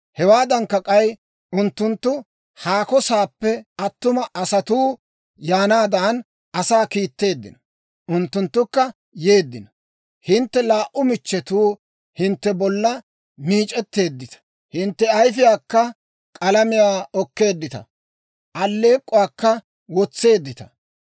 «Hewaadankka k'ay, unttunttu haako saappe attuma asatuu yaanaadan, asaa kiitteeddino; unttunttukka yeeddino. Hintte laa"u michchetuu hintte bollaa meec'etteeddita; hintte ayifiyaakka k'alamiyaa okkeeddita; alleek'k'uwaakka wotseeddita.